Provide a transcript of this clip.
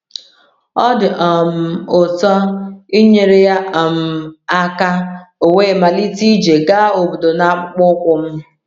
Ọ dị um m ụtọ inyere ya um aka, ọ̀ we malite ije gaa obodo n’akpụkpọ ụkwụ m.